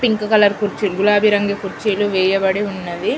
Pink colour కుర్చీ గులాబీ రంగు కుర్చీలు వేయబడియున్నవి.